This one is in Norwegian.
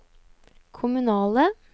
kommunale